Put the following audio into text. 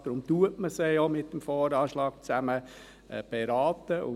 Deshalb berät man sie ja zusammen mit dem VA.